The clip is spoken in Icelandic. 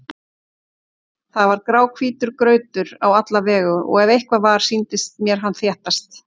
Það var gráhvítur grautur á alla vegu og ef eitthvað var, sýndist mér hann þéttast.